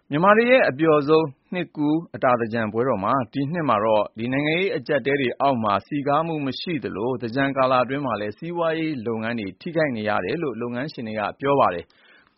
မြန်မာတွေရဲ့ အပျှော်ဆုံး နှစ်ကူး အတာသင်္ကြန်ပွဲတော်ဟာ ဒီနှစ်မှာတော့ နိုင်ငံရေးအကြပ်အတည်းအောက်မှာ မပျော်နိုင်ပဲ ဖြစ်နေကြသလို သင်္ကြန်တွင်း စီးပွါးရေးလုပ်ငန်းအားလုံးပါ ထိခိုက်နေတယ်လို့ စီးပွါးရေး လုပ်ငန်းရှင်တွေက ပြောပါတယ်။